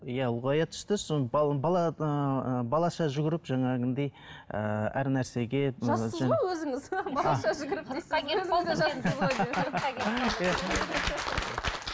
иә ұлғая түсті содан бала ыыы балаша жүгіріп ыыы әр нәрсеге балаша жүгіріп дейсіз ғой қырыққа келіп қалды